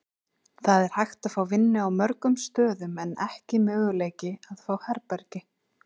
Það er hægt að fá vinnu á mörgum stöðum en ekki möguleiki að fá herbergi.